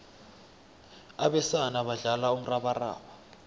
abesana badlala umrabaraba